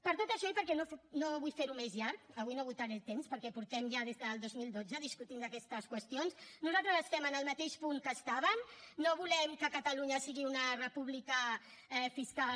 per tot això i perquè no vull fer ho més llarg avui no esgotaré el temps perquè ja des del dos mil dotze que estem discutint aquestes qüestions nosaltres estem en el mateix punt que estàvem no volem que catalunya sigui una república fiscal